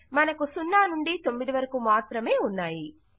మనకు 0 నుండి 9 వరకు మాత్రమే ఉన్నాయి